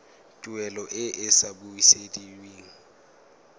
tuelo e e sa busediweng